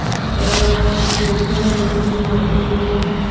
अ लड़कियां बैठे हैं औरतें बैठे हैं।